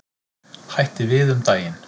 Hætti við um daginn.